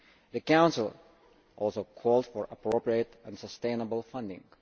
The Council also called for appropriate and sustainable funding.